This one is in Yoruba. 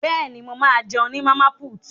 Bẹ́ẹ̀ni, mo ma jẹun ní Màmá put